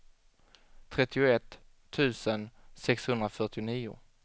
trettioett tusen sexhundrafyrtionio